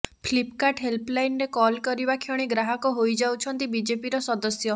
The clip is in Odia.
ଫ୍ଲିପକାର୍ଟ ହେଲ୍ପଲାଇନରେ କଲ କରିବା କ୍ଷଣି ଗ୍ରାହକ ହୋଇଯାଉଛନ୍ତି ବିଜେପିର ସଦସ୍ୟ